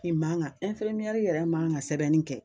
I man ka yɛrɛ man kan ka sɛbɛnni kɛ.